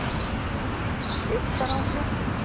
Eyktarási